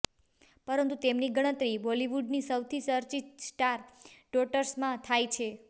પરંતુ તેમની ગણતરી બોલીવુડની સૌથી ચર્ચિત સ્ટાર ડોટર્સમાં થાય છે